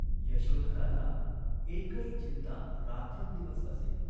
यशोधराला एकच चिंता रात्रंदिवस असे.